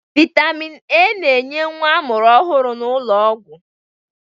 Vitamin A na-enye nwa amụrụ ọhụrụ n'ụlọọgwụ